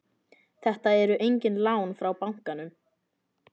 Þetta eru engin lán frá bankanum